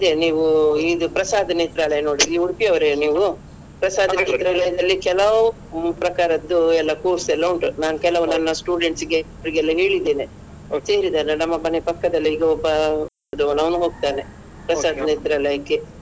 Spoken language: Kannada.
ನೀವು ಇದು ಪ್ರಸಾದ್ ನೇತ್ರಾಲಯ ನೋಡಿದ್ದೀರಾ ನೀವು Udupi ಅವರೆನಾ ನೀವು ಪ್ರಸಾದ್ ನೇತ್ರಾಲಯದಲ್ಲಿ ಕೆಲವು ಪ್ರಕಾರದ್ದು ಎಲ್ಲ course ಎಲ್ಲ ಉಂಟು ನಾನ್ ಕೆಲವು ನನ್ನ students ಗೆ ಅವರಿಗೆಲ್ಲ ಹೇಳಿದ್ದೇನೆ ಸೇರಿದ್ದಾರೆ ನಮ್ಮ ಮನೆ ಪಕ್ಕದಲ್ಲೇ ಈಗ ಒಬ್ಬ ಒಂದ್ ಅವ್ನು ಹೋಗ್ತಾನೆ ಪ್ರಸಾದ್ ನೇತ್ರಾಲಯಕ್ಕೆ.